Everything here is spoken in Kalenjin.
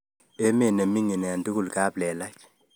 Emet ne minining eng tugul kaplelach